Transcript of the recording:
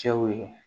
Cɛw ye